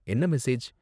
என்ன மெசேஜ்?